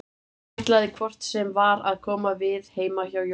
Hann ætlaði hvort sem var að koma við heima hjá Jóa.